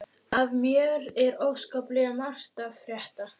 Af mér er óskaplega margt að frétta.